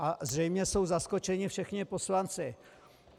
A zřejmě jsou zaskočeni všichni poslanci.